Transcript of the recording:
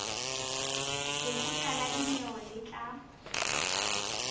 lekgotla la dinyewe le tla